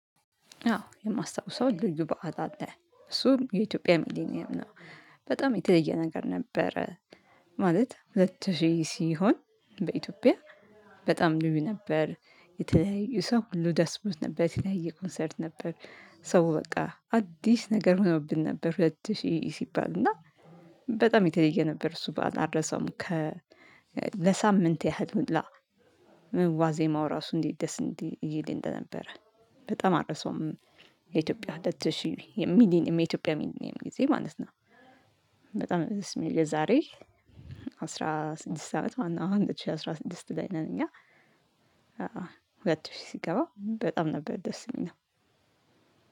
አዎ የማስታውሰው ልዩ በዓል አለ እሱም የኢትዮጵያ ሚሊኒየም ነው። በጣም የተለየ ነገር ነበረ። ማለት ሁለት ሺህ ሲሆን በኢትዮጵያ በጣም ልዩ ነበር። የተለያዩ ሰው ሁሉ ደስ ብሎት ነበር የተለያዩ ኮንሰርት ነበር። ሰው በቃ አዲስ ነገር ሆኖብን ነበር ሁለት ሺ ሲባል እና። በጣም የተለየ ነበር እሱ በዓል አልረሳውም። ለሳምንት ያህል ሁላ። ዋዜማው ራሱ እንዴት? ደስ እንዲህ ይል እንደነበረ በጣም አረሰውም። የኢትዮጵያ ሁለት ሺህ ሚኒሊየም የኢትዮጵያ ሚሊኒየም ጊዜ ማለት ነው። በጣም ነው ደስ የሚለው የዛሬ። አስራ ስድስት አመት ማለት ነው አሁን ሁለት ሺ አስራ ስድስት ላይ ነን እኛ። ሁለት ሺህ ሲገባ በጣም ነበር ደስ የሚለው።